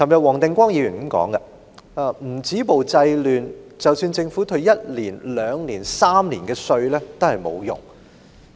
黃定光議員昨天說：如果不止暴制亂，即使政府一年或連續兩年、三年退稅也沒有用。